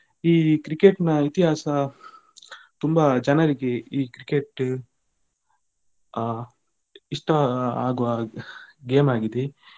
ಈ Cricket ನ ಇತಿಹಾಸ ತುಂಬಾ ಚೆನ್ನಾಗಿ ಈ Cricket ಆ ಇಷ್ಟ ಆಗುವಾ game ಆಗಿದೆ.